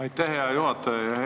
Aitäh, hea juhataja!